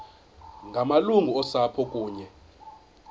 ngamalungu osapho kunye